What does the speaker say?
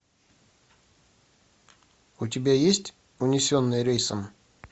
у тебя есть унесенные рейсом